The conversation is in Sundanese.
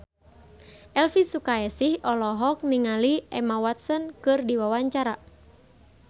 Elvy Sukaesih olohok ningali Emma Watson keur diwawancara